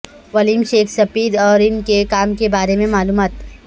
William Shakespeare اور ان کے کام کے بارے میں معلومات